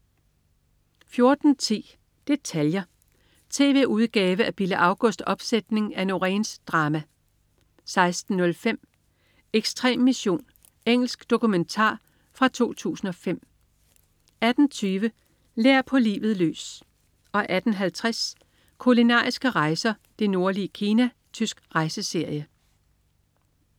14.10 Detaljer. Tv-udgave af Bille Augusts opsætning af Noréns drama 16.05 Ekstrem mission. Engelsk dokumentar fra 2005 18.20 Lær på livet løs 18.50 Kulinariske rejser: Det nordlige Kina. Tysk rejseserie